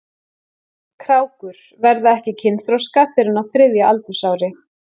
Krákur verða ekki kynþroska fyrr en á þriðja aldursári.